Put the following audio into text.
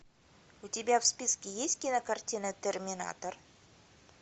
у тебя в списке есть кинокартина терминатор